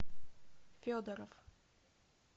федоров